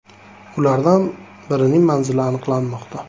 Ulardan birining manzili aniqlanmoqda.